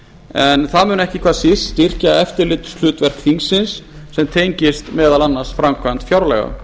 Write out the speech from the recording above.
en það mun ekki hvað síst styrkja eftirlitshlutverk þingsins sem tengist meðal annars framkvæmd fjárlaga